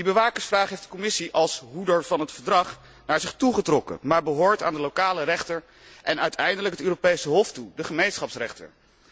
Die bewakersvraag heeft de Commissie als hoeder van het Verdrag naar zich toe getrokken, maar ze behoort aan de lokale rechter en uiteindelijk het Europees Hof toe, de Gemeenschapsrechter.